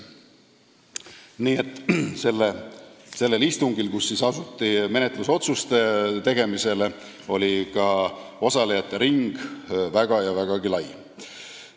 Nii et sellel istungil, kus asuti menetlusotsuseid tegema, oli ka osalejate ring väga ja väga lai.